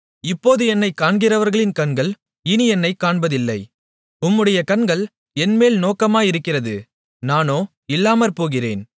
இப்போது என்னைக் காண்கிறவர்களின் கண்கள் இனி என்னைக் காண்பதில்லை உம்முடைய கண்கள் என்மேல் நோக்கமாயிருக்கிறது நானோ இல்லாமற்போகிறேன்